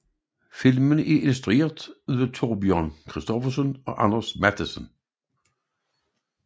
Filmen er instrueret af Thorbjørn Christoffersen og Anders Matthesen